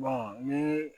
ni